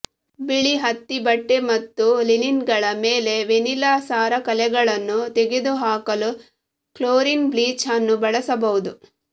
ಬಿಳಿ ಹತ್ತಿ ಬಟ್ಟೆ ಮತ್ತು ಲಿನಿನ್ಗಳ ಮೇಲೆ ವೆನಿಲಾ ಸಾರ ಕಲೆಗಳನ್ನು ತೆಗೆದುಹಾಕಲು ಕ್ಲೋರಿನ್ ಬ್ಲೀಚ್ ಅನ್ನು ಬಳಸಬಹುದು